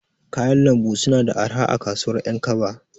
Kayan Lambu suna da arha a kasuwar ƴankaba.